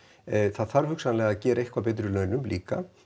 það þarf hugsanlega að gera eitthvað betur í launum líka